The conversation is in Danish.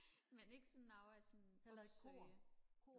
men ikke sådan noget jeg sådan opsøger